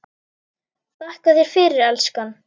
Þakka þér fyrir, elskan.